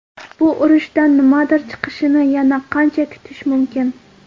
Bu urushdan nimadir chiqishini yana qancha kutish mumkin?